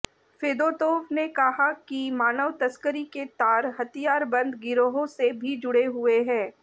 Fedotov ने कहा कि मानव तस्करी के तार हथियारबंद गिरोहों से भी जुड़े हुए हैं